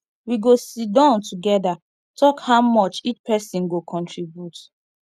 we go siddon togeda tok how much each pesin go contribute